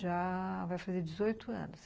Já vai fazer dezoito anos.